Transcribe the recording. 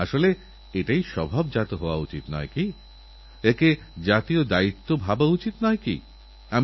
আজ দিল্লিতে ভারত সরকার রান ফোর রিও খেলো আর বাঁচো খেলো আর প্রস্ফুটিত হও শীর্ষক এক বিশাল এবং সুন্দর দৌড়ের আয়োজনকরেছে